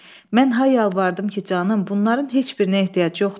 Mən hay yalvardım ki, canım, bunların heç birinə ehtiyac yoxdur.